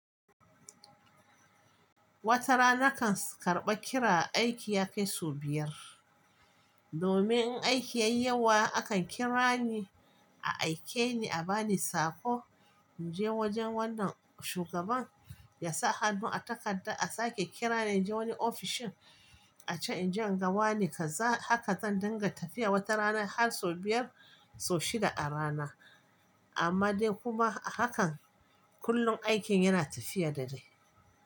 Wata rana kan karɓa kira, aiki ya kai sau biyar. Domin in aiki yayi yawa akan kira ni a aike ni a bani saƙo in je wajen wannan shugaban ya sa hannu a takarda a sake kira ni in je wani ofishin a can inje in ga wane. Kaza haka zan dinga tafiya wata rana har sau biyar sau shida a rana. Amma dai kuma hakan kullum aikin yana tafiya da dai.